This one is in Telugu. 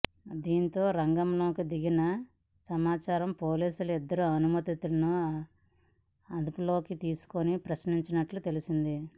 దీంతో రంగంలోకి దిగిన నాచారం పోలీసులు ఇద్దరు అనుమానితులను అదుపులోకి తీసుకుని ప్రశ్నిస్తున్నట్టు తెలిసింది